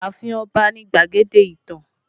Ààfin Ọba ni gbadege ìtàn